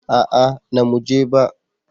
A'a na mu je ba